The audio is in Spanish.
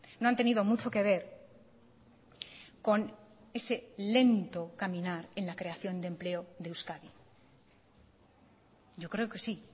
no han tenido mucho que ver con ese lento caminar en la creación de empleo de euskadi yo creo que sí